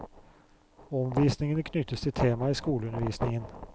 Omvisningen knyttes til tema i skoleundervisningen.